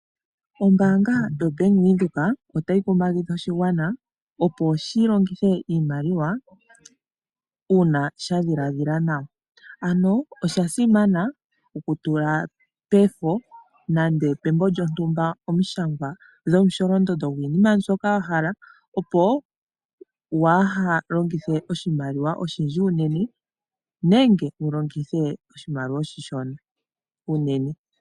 Ombaanga yoBank Windhoek otayi kumagidha oshigwana opo shilongithe iimaliwa uuna sha dhiladhila nawa. Ano osha simana okunyola omusholondondo gwiinima mbyoka wahala pombapila nenge pembo lyontumba opo waaha longithe oshimaliwa oshindji unene nenge walongithe oshimaliwa oshishona unene.